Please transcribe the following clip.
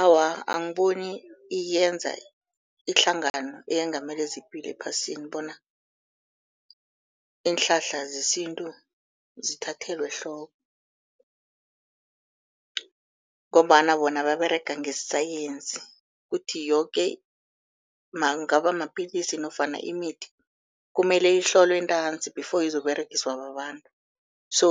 Awa, angiboni iyenza ihlangano eyengamele zepilo ephasini bona iinhlahla zesintu zithathelwe ehloko, ngombana bona baberega ngesayensi kuthi yoke kungaba mapilisi nofana imithi kumele ihlolwe ntanzi before izokUberegiswa babantu. So